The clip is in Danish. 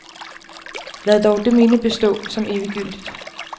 Lad dog det minde bestå som eviggyldigt.